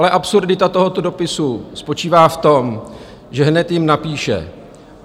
Ale absurdita tohoto dopisu spočívá v tom, že hned jim napíše: